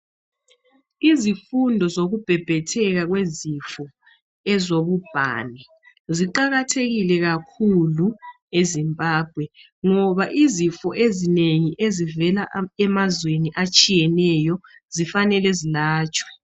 Izifundo zokubhebhethwka kwezifo ezobubhani ziqakathekile kakhulu eZimbabwe ngoba izifo ezinengi ezivela emazweni atshiyeneyo zifanele zelatshwe.